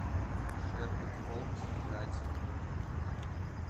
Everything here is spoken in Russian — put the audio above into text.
шерлок холмс игра теней